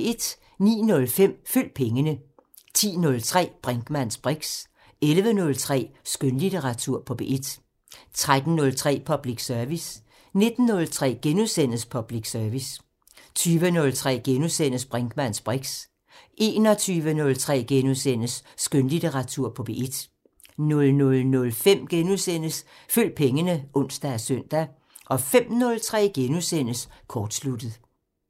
09:05: Følg pengene 10:03: Brinkmanns briks 11:03: Skønlitteratur på P1 13:03: Public Service 19:03: Public Service * 20:03: Brinkmanns briks * 21:03: Skønlitteratur på P1 * 00:05: Følg pengene *(ons og søn) 05:03: Kortsluttet *